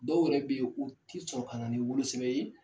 Dɔw yɛrɛ bɛ yen o tɛ sɔn ka na ni wolosɛbɛn ye.